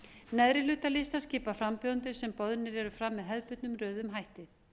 neðri hluta listans skipa frambjóðendur sem boðnir eru fram með hefðbundnum röðuðum hætti